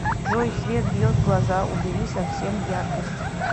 джой свет бьет в глаза убери совсем яркость